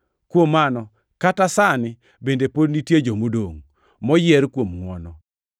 Kuom mano, kata sani bende pod nitie jomodongʼ, moyier kuom ngʼwono.